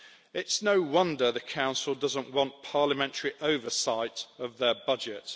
It's no wonder the Council doesn't want parliamentary oversight of their budget.